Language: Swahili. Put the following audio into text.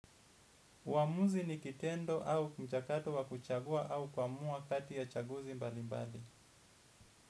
Huamuzi ni kitendo au mchakato wa kuchagua au kuamua kati ya chaguzi mbali mbali.